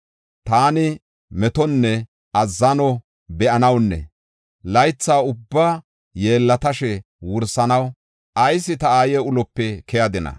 Taani metonne azzano be7anawunne laytha ubbaa yeellatashe wursanaw, ayis ta aaye ulope keyadina?